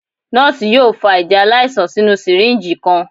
Nọ́ọ̀sì yoo fa ẹjẹ alaisan sinu syringe kan.